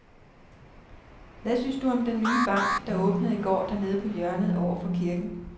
Hvad synes du om den nye bank, der åbnede i går dernede på hjørnet over for kirken?